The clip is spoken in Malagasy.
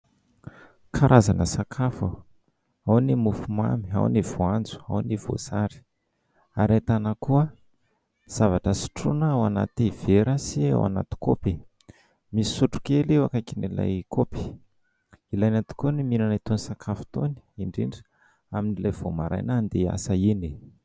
Karazana sakafo : ao ny mofomamy, ao ny voanjo, ao ny voasary, ary ahitana koa zavatra sotroina ao anaty vera, sy ao anaty kaopy; misy sotro kely eo ankaikin'ilay kaopy. Ilaina tokoa ny mihinana itony sakafo itony, indrindra amin'ilay vao maraina handeha hiasa iny.